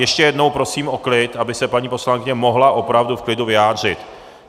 Ještě jednou prosím o klid, aby se paní poslankyně mohla opravdu v klidu vyjádřit.